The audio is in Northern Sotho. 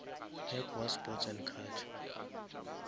mec wa sports and culture